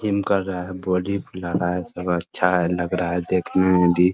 Gym कर रहा है बॉडी फुला रहा हैं सब अच्छा है लग रहा हैं देखने में भी।